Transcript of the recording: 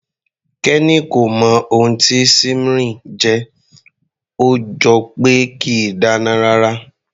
Kenny kò mọ ohun tí simmering jẹ́, ó jọ pé kìí dáná rárá.